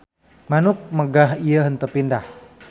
Manuk megah ieu henteu pindah.